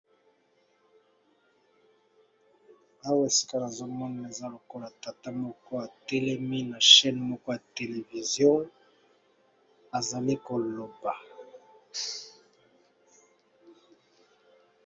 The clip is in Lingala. Awa esika nazo mona eza lokola tata moko a telemi na chaine moko ya televszio azali ko loba .